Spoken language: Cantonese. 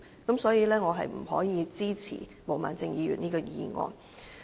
因此，我不可以支持毛孟靜議員的議案。